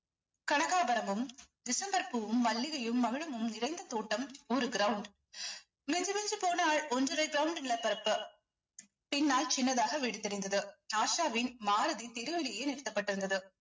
கனகாபரமும், December பூவும், மல்லிகையும், மகிழமும் நிறைந்த தோட்டம் ஒரு ground மிஞ்சு மிஞ்சு போனால் ஒன்றரை ground நிலப்பரப்பு பின்னால் சின்னதாக வீடு தெரிந்தது ஆஷாவின் மாருதி தெருவிலேயே நிறுத்தப்பட்டிருந்தது